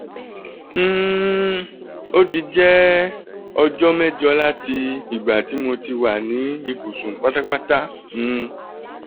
um o ti jẹ ọjọ 8 lati igba ti mo ti wa ni ibusun patapata um